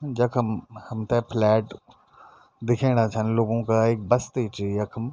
जखम हमथे फ्लैट दिखेणा छन लोगो का एक बस्ती च यखम।